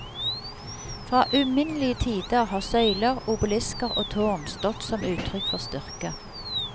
Fra uminnelige tider har søyler, obelisker og tårn stått som uttrykk for styrke.